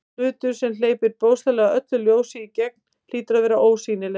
Hlutur sem hleypir bókstaflega öllu ljósi í gegn hlýtur að vera ósýnilegur.